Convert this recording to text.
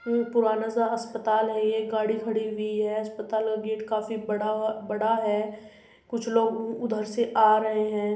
पुराना सा अस्पताल है ये गाड़ी खड़ी हुई है। अस्पताल का गेट काफी बड़ा अ बड़ा है कुछ लोग उ-उधर से आ रहे हैं।